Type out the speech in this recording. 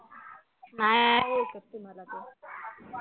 नाही ओळखत तुला तो